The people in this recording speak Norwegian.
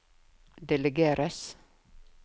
delegeres